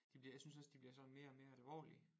De bliver jeg synes også de bliver sådan mere og mere alvorlige